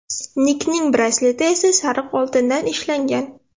Nikning brasleti esa sariq oltindan ishlangan.